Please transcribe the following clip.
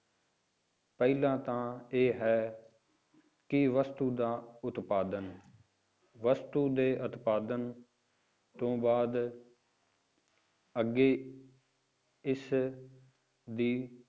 ਪਹਿਲਾਂ ਤਾਂ ਇਹ ਹੈ ਕਿ ਵਸਤੂ ਦਾ ਉਤਪਾਦਨ, ਵਸਤੂ ਦੇ ਉਤਪਾਦਨ ਤੋਂ ਬਾਅਦ ਅੱਗੇ ਇਸ ਦੀ